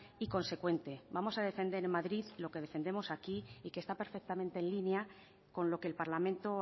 y consecuente vamos a defender en madrid lo que defendemos aquí y que está perfectamente en línea con lo que el parlamento